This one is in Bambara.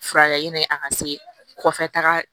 Furakɛ ni a ka se kɔfɛ taga